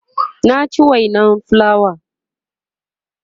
na ci wainan fulawa